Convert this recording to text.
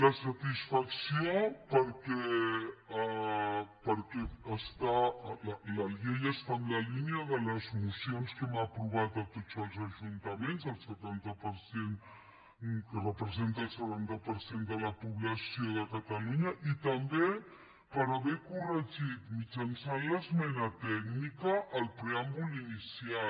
la satisfacció perquè la llei està en la línia de les mocions que hem aprovat a tots els ajuntaments que representen el setanta per cent de la població de catalunya i també per haver corregit mitjançant l’esmena tècnica el preàmbul inicial